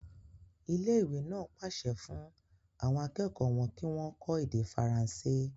Ilé ìwé náà pàṣẹ fún àwọn akẹ́kọ̀ọ́ wọn kí wọ́n kọ́ èdè faransé.